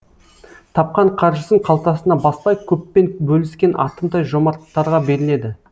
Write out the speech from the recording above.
тапқан қаржысын қалтасына баспай көппен бөліскен атымтай жомарттарға беріледі